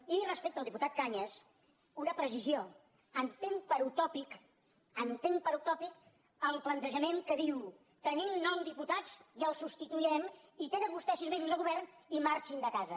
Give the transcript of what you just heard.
i respecte al diputat cañas una precisió entenc per utòpic entenc per utòpic el plantejament que diu tenim nou diputats i el substituirem i tenen vostès sis mesos de govern i marxin de casa